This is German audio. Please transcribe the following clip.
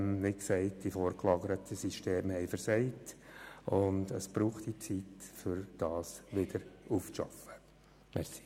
Dann haben nämlich – wie bereits dargelegt – die vorgelagerten Systeme versagt, und es braucht Zeit, um das wieder aufzuarbeiten.